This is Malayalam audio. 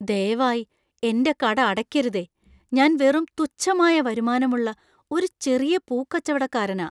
ദയവായി എന്‍റെ കട അടയ്ക്കരുതേ. ഞാൻ വെറും തുച്ഛമായ വരുമാനമുള്ള ഒരു ചെറിയ പൂക്കച്ചവടക്കാരനാ.